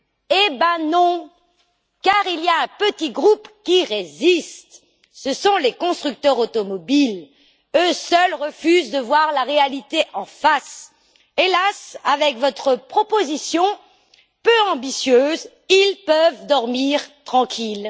Eh ben non, car il y a un petit groupe qui résiste, ce sont les constructeurs automobiles, eux seuls refusent de voir la réalité en face. Hélas, avec votre proposition, peu ambitieuse, ils peuvent dormir tranquilles.